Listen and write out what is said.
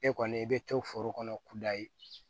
E kɔni i bɛ to foro kɔnɔ kudayi